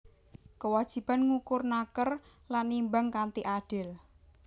Kewajiban ngukur naker lan nimbang kanthi adil